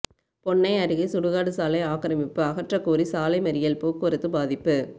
பொன்னை அருகே சுடுகாடு சாலை ஆக்கிரமிப்பு அகற்றக்கோரி சாலை மறியல் போக்குவரத்து பாதிப்பு